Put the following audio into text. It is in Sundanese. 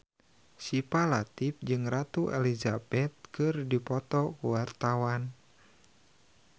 Syifa Latief jeung Ratu Elizabeth keur dipoto ku wartawan